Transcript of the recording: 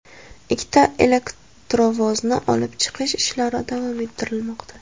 Ikkita elektrovozni olib chiqish ishlari davom ettirilmoqda.